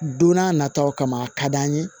Don n'a nataw kama a ka d'an ye